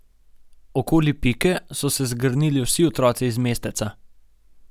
Okoli Pike so se zgrnili vsi otroci iz mesteca.